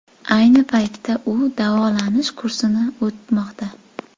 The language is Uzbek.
Ayni paytda u davolanish kursini o‘tamoqda.